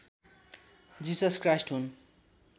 जिसस Christ हुन्